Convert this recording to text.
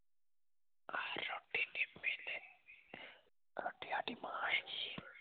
ਤੇ ਸਾਡੀ ਮਾਂ ਹੈਗੀ ਏ